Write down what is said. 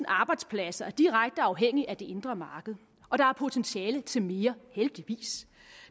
arbejdspladser er direkte afhængige af det indre marked og der er potentiale til mere heldigvis